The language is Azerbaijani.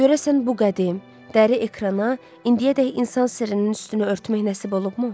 Görəsən bu qədim, dəri ekrana indiyədək insan sirrinin üstünü örtmək nəsib olubmu?